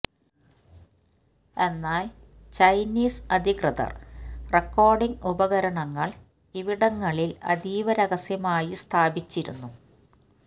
എന്നാല് ചൈനീസ് അധികൃതര് റെക്കോഡിംഗ് ഉപകരണങ്ങള് ഇവിടങ്ങളില് അതീവ രഹസ്യമായി സ്ഥാപിച്ചിരുന്നു